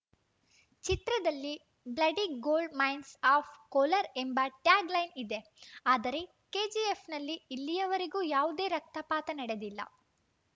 ಚಿತ್ರದಲ್ಲಿ bloody gold mines of Kolar ಎಂಬ tag line ಇದೆ ಆದರೆ ಕೆಜಿಎಫ್‌ನಲ್ಲಿ ಇಲ್ಲಿಯವರೆಗೂ ಯಾವುದೇ ರಕ್ತಪಾತ ನಡೆದಿಲ್ಲ